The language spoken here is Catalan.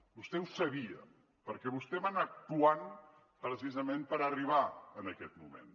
vostè ho sabia perquè vostè va anar actuant precisament per arribar a aquest moment